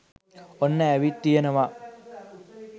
ඔන්න ඇවිත් තියෙනවා.